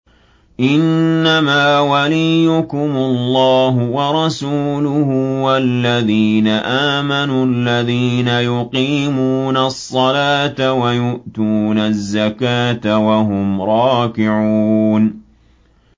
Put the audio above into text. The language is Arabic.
إِنَّمَا وَلِيُّكُمُ اللَّهُ وَرَسُولُهُ وَالَّذِينَ آمَنُوا الَّذِينَ يُقِيمُونَ الصَّلَاةَ وَيُؤْتُونَ الزَّكَاةَ وَهُمْ رَاكِعُونَ